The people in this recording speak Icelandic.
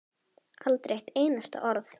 Aldrei eitt einasta orð.